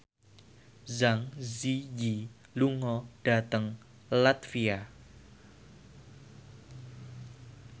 Zang Zi Yi lunga dhateng latvia